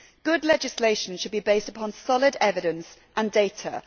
Good legislation should be based upon solid evidence and data